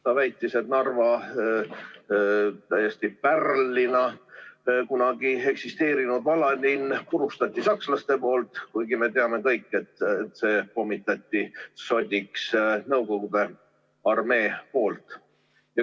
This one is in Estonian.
Ta väitis, et Narva kunagi pärlina eksisteerinud vanalinna purustasid sakslased, kuigi me teame kõik, et selle pommitas sodiks Nõukogude armee.